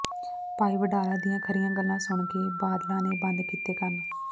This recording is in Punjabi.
ਭਾਈ ਵਡਾਲਾ ਦੀਆਂ ਖ਼ਰ੍ਹੀਆਂ ਗੱਲਾਂ ਸੁਣ ਬਾਦਲਾਂ ਨੇ ਬੰਦ ਕੀਤੇ ਕੰਨ